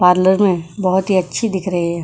Parlour में बहुत ही अच्छी दिख रही है।